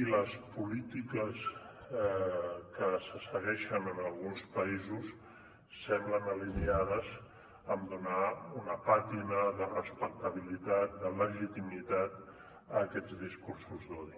i les polítiques que se segueixen en alguns països semblen alineades a donar una pàtina de respectabilitat de legitimitat a aquests discursos d’odi